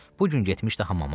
Bu gün getmişdi hamama.